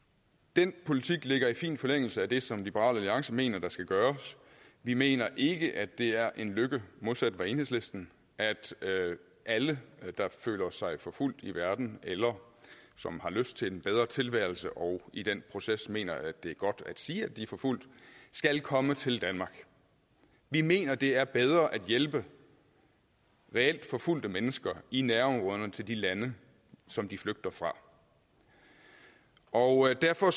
den politik ligger i fin forlængelse af det som liberal alliance mener der skal gøres vi mener ikke at det er en lykke modsat enhedslisten at alle der føler sig forfulgt i verden eller som har lyst til en bedre tilværelse og i den proces mener at det er godt at sige de er forfulgt skal komme til danmark vi mener det er bedre at hjælpe reelt forfulgte mennesker i nærområderne til de lande som de flygter fra og derfor